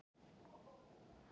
Þó eru til enn þéttari fyrirbæri.